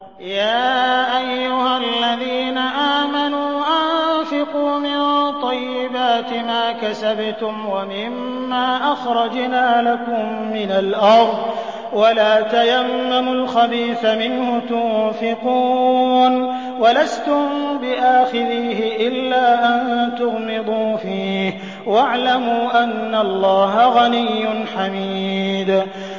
يَا أَيُّهَا الَّذِينَ آمَنُوا أَنفِقُوا مِن طَيِّبَاتِ مَا كَسَبْتُمْ وَمِمَّا أَخْرَجْنَا لَكُم مِّنَ الْأَرْضِ ۖ وَلَا تَيَمَّمُوا الْخَبِيثَ مِنْهُ تُنفِقُونَ وَلَسْتُم بِآخِذِيهِ إِلَّا أَن تُغْمِضُوا فِيهِ ۚ وَاعْلَمُوا أَنَّ اللَّهَ غَنِيٌّ حَمِيدٌ